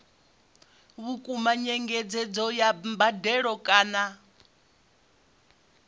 vhukuma nyengedzedzo ya mbadelo kana